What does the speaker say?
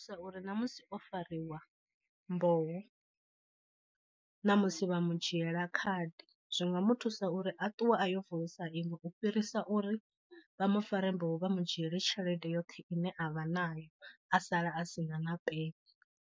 Uri na musi o fariwa mboho na musi vha mu dzhiela khadi zwi nga mu thusa uri a ṱuwe a yo vulisa iṅwe u fhirisa uri vha mu fare mboho vha mu dzhieli tshelede yoṱhe ine avha nayo a sala a sina na peni.